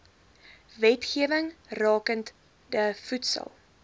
wetgewing rakende voedsel